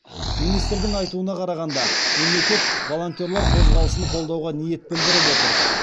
министрдің айтуына қарағанда мемлекет волонтерлар қозғалысын қолдауға ниет білдіріп отыр